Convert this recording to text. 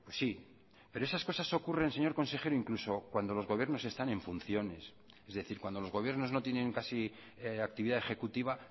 sí pero esas cosas ocurren señor consejero incluso cuando los gobiernos están en funciones es decir cuando los gobiernos no tienen casi actividad ejecutiva